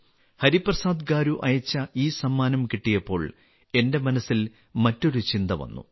ഹരിപ്രസാദ് ഗാരു അയച്ച ഈ സമ്മാനം കിട്ടിയപ്പോൾ എന്റെ മനസ്സിൽ മറ്റൊരു ചിന്ത വന്നു